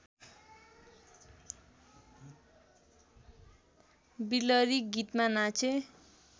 बिलरी गीतमा नाचे